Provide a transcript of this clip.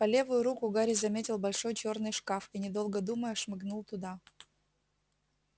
по левую руку гарри заметил большой чёрный шкаф и недолго думая шмыгнул туда